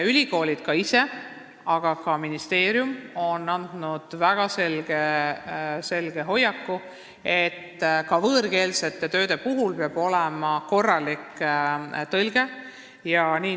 Ülikoolid ise on arvamusel, aga ka ministeerium on andnud väga selgelt sõnumi, et ka võõrkeelsetel töödel peab olema korralik tõlge resümee kujul.